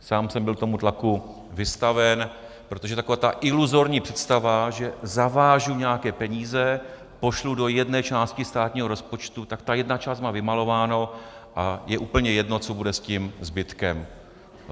Sám jsem byl tomu tlaku vystaven, protože taková ta iluzorní představa, že zavážu nějaké peníze, pošlu do jedné části státního rozpočtu, tak ta jedna část má vymalováno a je úplně jedno, co bude s tím zbytkem.